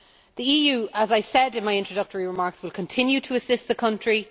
The EU, as I said in my introductory remarks, will continue to assist the country.